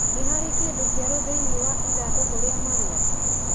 Nĩ harĩ kĩndũ kĩerũ thĩinĩ wa ĩthandũkũ ria marũa.